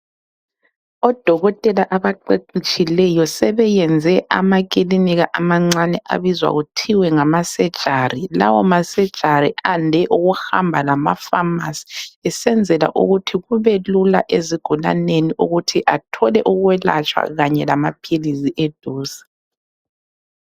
Odokotela abaqeqetshileyo sebeyenze amakilinika amancane abizwa kuthiwa ngama surgery. Lawo ma- surgery ande ukuhamba lamafamasi besenzela ukuthi kubelula ezigulaneni ukuthi athole ukwelatshwa kanye lamaphilisi eduze.